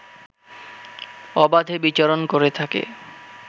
অবাধে বিচরণ করে থাকে